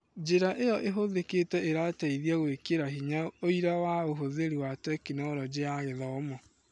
Njĩra ĩyo ĩhũthĩkĩte ĩrateithia gũĩkĩra hinya ũira wa ũhũthĩri wa Tekinoronjĩ ya Gĩthomo